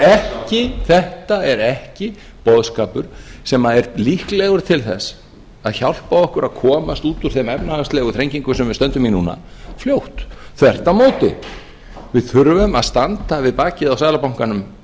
framsóknarflokksins þetta er ekki boðskapur sem er líklegur til þess að hjálpa okkur að komast út úr þeim efnahagslegu þrengingum sem við stöndum í núna fljótt þvert á móti við þurfum að standa við bakið á seðlabankanum